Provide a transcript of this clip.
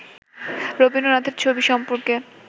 রবীন্দ্রনাথের ছবি সম্পর্কে